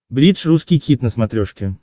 бридж русский хит на смотрешке